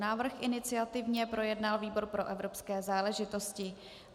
Návrh iniciativně projednal výbor pro evropské záležitosti.